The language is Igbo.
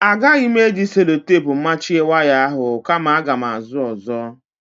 Agaghị m eji selotepu machie waya ahụ kama aga m ázụ́ ọ́zọ́.